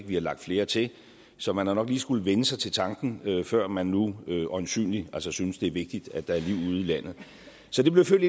vi har lagt flere til så man har nok lige skullet vænne sig til tanken før man nu øjensynlig synes det er vigtigt at der er liv ude i landet så det blev født